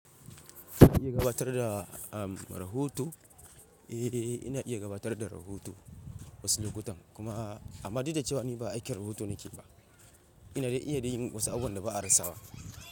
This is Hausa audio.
Ina iya gabatar da, am, rahoto? Eh, ina iya gabatar da rahoto wasu lokutan kuma amma duk da cewa ni ba aikin rahoto nake ba, ina, ina iya yin wasu abubuwan da ba a rasa ba.